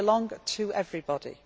They belong to everybody.